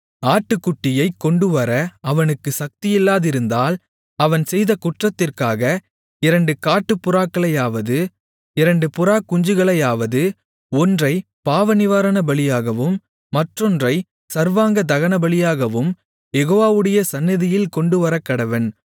ஆட்டுக்குட்டியைக் கொண்டுவர அவனுக்குச் சக்தியில்லாதிருந்தால் அவன் செய்த குற்றத்திற்காக இரண்டு காட்டுப்புறாக்களையாவது இரண்டு புறாக்குஞ்சுகளையாவது ஒன்றைப் பாவநிவாரணபலியாகவும் மற்றொன்றைச் சர்வாங்க தகனபலியாகவும் யெகோவாவுடைய சந்நிதியில் கொண்டுவரக்கடவன்